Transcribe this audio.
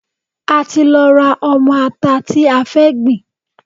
A ti lọ ra ọmọ ata tí a fẹ́ gbìn.